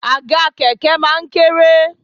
Àga kẹ̀kẹ́ máa ń kéré